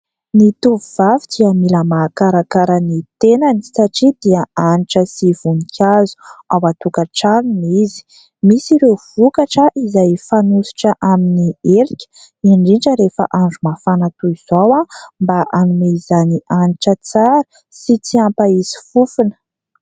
Ny tovovavy dia mila mahakarakara ny tenany satria dia hanitra sy vonikazo ao an-tokatranony izy. MIsy ireo vokatra izay fanosotra amin'ny elika, indrindra rehefa andro mafana toy izao aho mba hanome izany hanitra tsara sady tsy hampahisy fofona.